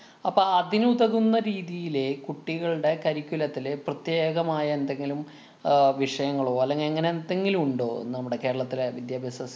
അപ്പൊ അതിനുതകുന്ന രീതിയിലേ കുട്ടികളുടെ curriculam ത്തിലെ പ്രത്യേകമായ എന്തെങ്കിലും അഹ് വിഷയങ്ങളോ, അല്ലെങ്കി അങ്ങനെ എന്തെങ്കിലും ഉണ്ടോ നമ്മുടെ കേരളത്തിലെ വിദ്യാഭ്യാസ